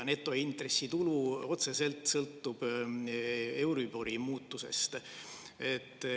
Netointressitulu sõltub otseselt euribori muutusest.